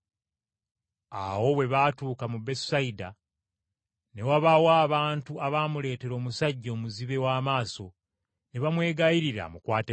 Awo bwe baatuuka mu Besusayida, ne wabaawo abantu abaamuleetera omusajja omuzibe w’amaaso, ne bamwegayirira amukwateko.